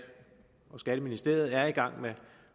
og skatteministeriet er i gang med